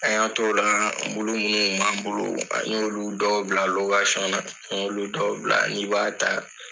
A y'an t'ola mulu muw kun b'an bolo an y'olu dɔw bila lokasiɲɔn na an y'olu dɔw bila n'i b'a ta